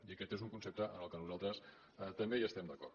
i aquest és un concepte amb el qual nosaltres també hi estem d’acord